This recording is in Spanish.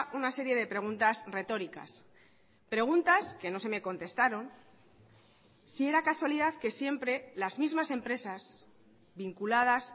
una serie de preguntas retóricas preguntas que no se me contestaron si era casualidad que siempre las mismas empresas vinculadas